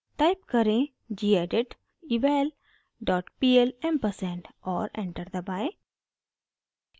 type करें: gedit eval dot pl ampersand और enter दबाएं